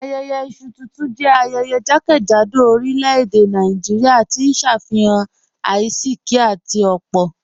Ayẹyẹ isu tuntun jẹ ayẹyẹ jàkẹ́jádò orílẹ̀-èdè Nàìjíríà, tí n ṣe afihan àìsíkì àti opo